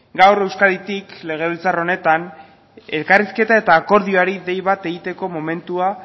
gaur euskaditik legebiltzar honetan elkarrizketa eta akordioari dei bat egiteko momentua